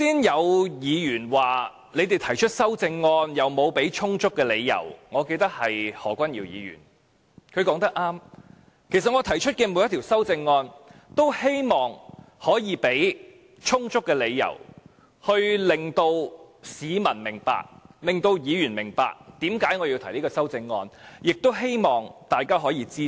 有議員剛才指我們提出的修正案沒有提供充足理由——我記得是何君堯議員——他說得對，其實我提出的每一項修正案均希望可以提供充足的理由，令市民和議員明白，為何我要提出這項修正案，亦希望大家可以支持。